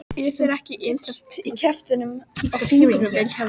Er þér ekkert illt í kjaftinum og fingrinum Vilhjálmur?